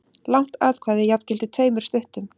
Langt atkvæði jafngilti tveimur stuttum.